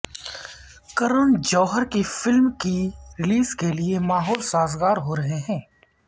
کرن جوہر کی فلم کی ریلیز کے لیے ماحول سازگار ہو رہے ہیں